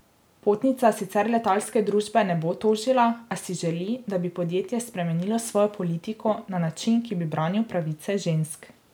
Potnica sicer letalske družbe ne bo tožila, a si želi, da bi podjetje spremenilo svojo politiko na način, ki bi branil pravice žensk.